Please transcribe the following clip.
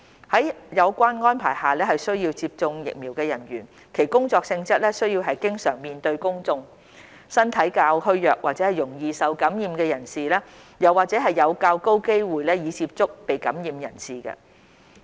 在有關安排下需要接種疫苗的人員，其工作性質需要經常面對公眾、身體較虛弱或容易受感染的人士，又或者有較高機會接觸已被感染的人士。